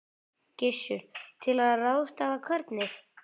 Gissur: Til að ráðstafa hvernig?